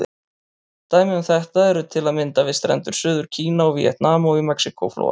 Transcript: Dæmi um þetta eru til að mynda við strendur Suður-Kína og Víetnam, og í Mexíkó-flóa.